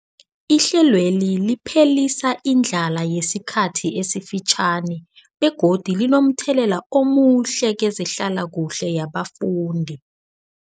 Ihlelweli liphelisa indlala yesikhathi esifitjhani begodu linomthelela omuhle kezehlalakuhle yabafundi.